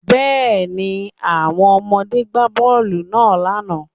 Yes, the children played the ball yesterday